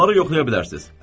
Bunları yoxlaya bilərsiniz.